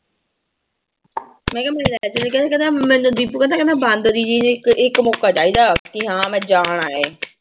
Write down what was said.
ਮੈਂ ਕਿਹਾ ਮੈਨੂੰ ਲੈ ਚੱਲ ਕਹਿੰਦਾ ਕਹਿੰਦਾ ਮੈਨੂੰ ਦੀਪੂ ਕਹਿੰਦਾ ਕਹਿੰਦਾ ਬਾਂਦਰੀ ਜਿਹੀ ਨੂੰ ਇੱਕ ਇੱਕ ਮੋਕਾ ਚਾਹੀਦਾ ਕਿ ਹਾਂ ਮੈਂ ਜਾਣਾ ਹੈ